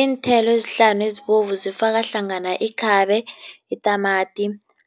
Iinthelo ezihlanu ezibovu zifaka hlangana ikhabe, itamati,